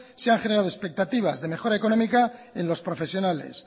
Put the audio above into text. se han generado expectativas de mejora económica en los profesionales